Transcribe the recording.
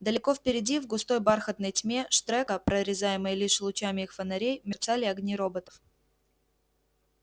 далеко впереди в густой бархатной тьме штрека прорезаемой лишь лучами их фонарей мерцали огни роботов